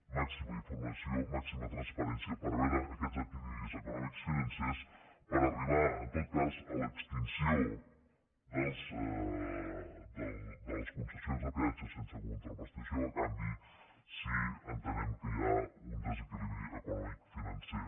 màxima informació màxima transparència per veure aquests desequilibris econòmics financers per arribar en tot cas a l’extinció de les concessions de peatges sense contraprestació a canvi si entenem que hi ha un desequilibri econòmic financer